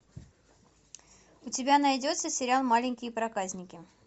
у тебя найдется сериал маленькие проказники